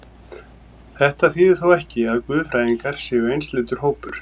Þetta þýðir þó ekki, að guðfræðingar séu einsleitur hópur.